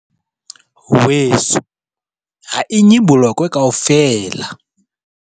Weso, ha e nye bolokwe kaofela!